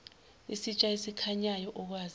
isitsha esikhanyayo okwazi